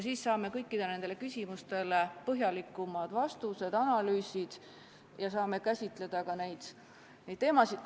Siis saame kõikidele küsimustele põhjalikumad vastused, tehakse analüüsid ja me saame käsitleda ka neid teemasid.